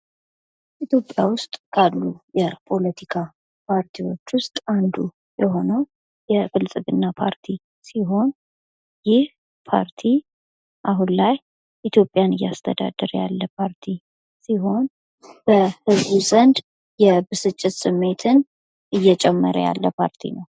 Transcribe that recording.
ኢትዮጵያ ዉስጥ ካሉ የፖለቲካ ፓርቲዎች ዉስጥ አንዱ የሆነዉ የብልፅግና ፓርቲ ሲሆን ይህ ፓርቲ አሁን ላይ ኢትዮጵያን እያስተዳደረ ያለ ፓርቲ ሲሆን በህዝቡ ዘንድ ብስጭትን እየጨመረ ያለ ፓርቲ ነዉ።